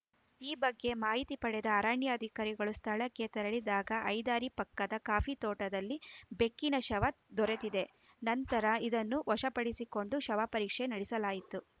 ಈ ಬಗ್ಗೆ ಮಾಹಿತಿ ಪಡೆದ ಅರಣ್ಯಾಧಿಕಾರಿಗಳು ಸ್ಥಳಕ್ಕೆ ತೆರಳಿದಾಗ ಹೈದ್ದಾರಿ ಪಕ್ಕದ ಕಾಫಿ ತೋಟದಲ್ಲಿ ಬೆಕ್ಕಿನ ಶವ ದೊರೆತಿದೆ ನಂತರ ಇದನ್ನು ವಶಪಡಿಸಿಕೊಂಡು ಶವಪರೀಕ್ಷೆ ನಡೆಸಲಾಯಿತು